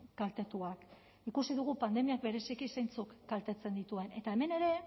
kaltetuak ikusi dugu pandemiak bereziki zeintzuk kaltetzen dituen eta hemen ere